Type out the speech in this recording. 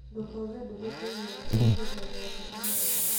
Ndũkauge ndũhĩtĩirie mũndũ o wothe ũmũthĩ